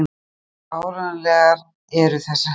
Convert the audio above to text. Hversu áreiðanlegar eru þessar heimildir?